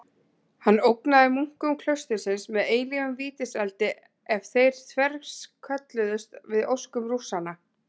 Hann ógnaði munkum klaustursins með eilífum vítiseldi ef þeir þverskölluðust við óskum Rússanna.